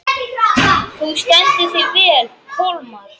Þú stendur þig vel, Kolmar!